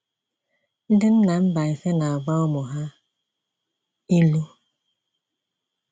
Ndị nna Mbaise na-agwa ụmụ ha ilu.